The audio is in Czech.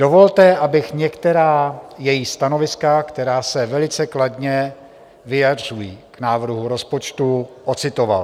Dovolte, abych některá její stanoviska, která se velice kladně vyjadřují k návrhu rozpočtu, ocitoval.